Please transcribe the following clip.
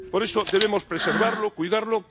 Por eso debemos preservarlo, cuidarlo.